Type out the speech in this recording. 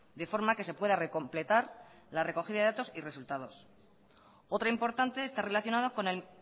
de forma que se pueda recompletar la recogida de datos y resultados otra importante está relacionada con el